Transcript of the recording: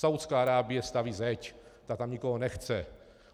Saúdská Arábie staví zeď, ta tam nikoho nechce.